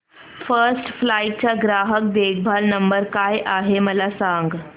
first flight चा ग्राहक देखभाल नंबर काय आहे मला सांग